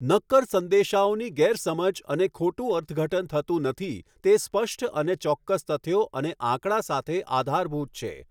નક્કર સંદેશાઓની ગેરસમજ અને ખોટુ અર્થઘટન થતું નથી તે સ્પષ્ટ અને ચોક્કસ તથ્યો અને આંકડા સાથે આધારભૂત છે.